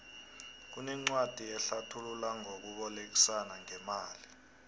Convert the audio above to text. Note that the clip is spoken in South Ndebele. kunencwadi ehlathula ngokubolekisana ngemali